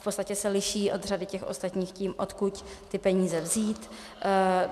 V podstatě se liší od řady těch ostatních tím, odkud ty peníze vzít.